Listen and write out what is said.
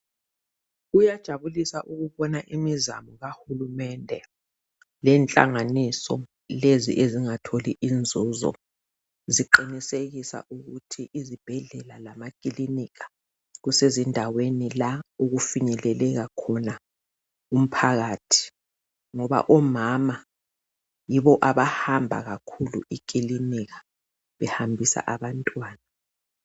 Kuyajabulisa ukubona imizamo kahulumende lenhlanganiso lezi ezingatholi inzuzo ziqinisekisa ukuthi izibhedlela lamakilinika zisendaweni la okufinyeleleka khona umphakathi ngoba omama yibo abahamba kakhulu ekilinika behambisa abantwana.